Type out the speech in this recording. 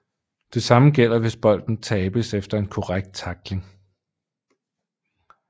Det samme gælder hvis bolden tabes efter en korrekt tackling